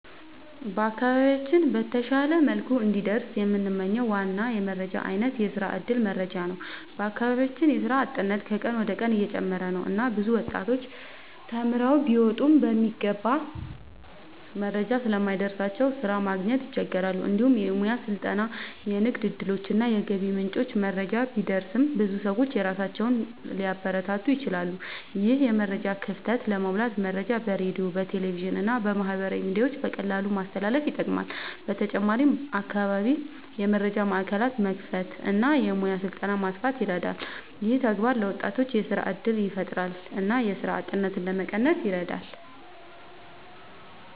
በአካባቢያችን በተሻለ መልኩ እንዲደርስ የምንመኝው ዋና የመረጃ አይነት የስራ እድል መረጃ ነው። በአካባቢያችን የስራ አጥነት ከቀን ወደ ቀን እየጨመረ ነው እና ብዙ ወጣቶች ተማርተው ቢወጡም የሚገባ መረጃ ስለማይደርስላቸው ስራ ማግኘት ይቸገራሉ። እንዲሁም የሙያ ስልጠና፣ የንግድ እድሎች እና የገቢ ምንጮች መረጃ ቢደርስ ብዙ ሰዎች ራሳቸውን ሊያበረታቱ ይችላሉ። ይህን የመረጃ ክፍተት ለመሙላት መረጃ በሬዲዮ፣ በቴሌቪዥን እና በማህበራዊ ሚዲያ በቀላሉ ማስተላለፍ ይጠቅማል። በተጨማሪም በአካባቢ የመረጃ ማዕከላት መክፈት እና የሙያ ስልጠና ማስፋት ይረዳል። ይህ ተግባር ለወጣቶች የስራ እድል ያፈጥራል እና የስራ አጥነትን ለመቀነስ ይረዳል።